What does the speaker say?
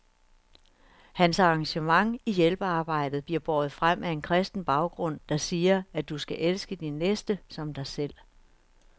Hans engagement i hjælpearbejdet bliver båret frem af en kristen baggrund, der siger, at du skal elske din næste som dig selv.